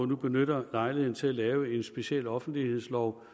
nu benytter lejligheden til at lave en speciel offentlighedslov